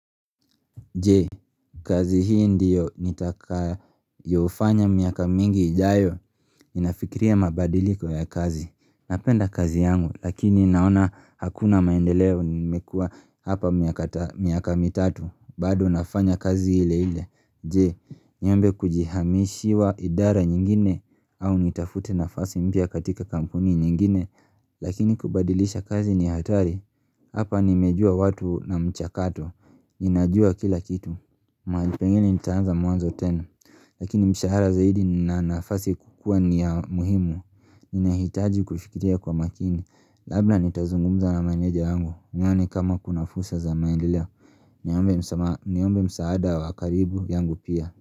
Je, kazi hii ndiyo nitakayofanya miaka mingi ijayo Ninafikiria mabadiliko ya kazi Napenda kazi yangu lakini naona hakuna maendeleo nimekua hapa miaka tano miaka mitatu bado nafanya kazi ile ile Je, nyembe kujihamishiwa idara nyingine au nitafute nafasi mpya katika kampuni nyingine Lakini kubadilisha kazi ni hatari Hapa nimejua watu na mchakato Ninajua kila kitu mahali pengine nitaanza mwanzo tena Lakini mishahara zaidi nina nafasi kukua ni ya muhimu Ninahitaji kuifikiria kwa makini Labda nitazungumza na meneja wangu nione kama kuna fursa za maendeleo Niombe msaada wa karibu yangu pia.